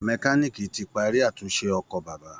Mẹkáníìkì ti parí àtúnṣe ọkọ̀ bàbá